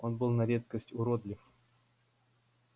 он был на редкость уродлив